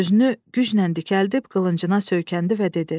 Özünü güclə dikəldib qılıncına söykəndi və dedi: